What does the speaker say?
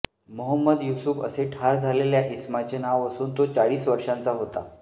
मोहंमद युसुफ असे ठार झालेल्या इसमाचे नाव असून तो चाळीस वर्षांचा होता